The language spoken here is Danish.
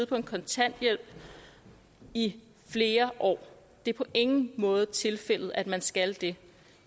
på kontanthjælp i flere år det er på ingen måde tilfældet at man skal det